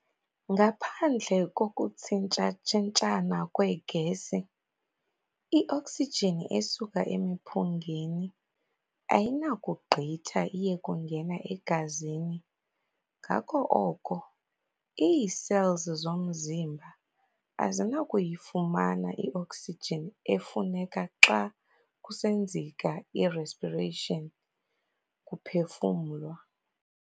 Ngaphandle kokuthsintshatshintshana kwee-gesi, ioksijini esuka emiphungeni ayinakugqitha iye kungena egazini ngako oko ii-cells zomzimba fazinakuyifumana i-oksijini efuneka xa kusenzeka i-respiration, kuphefumlwa.